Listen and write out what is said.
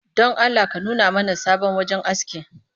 Don Allah ka nuna mana sabon wajen aski